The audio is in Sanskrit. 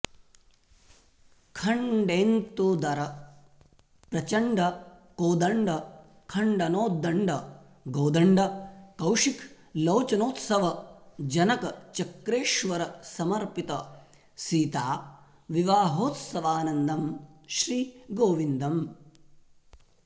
खण्डेन्तुदर प्रचण्ड कोदण्ड खण्डनोत्दण्ड गोदण्ड कौशिक लोचनोत्सव जनक चक्रेश्वर समर्पित सीता विवाहोत्सवानन्दं श्री गोविन्दम्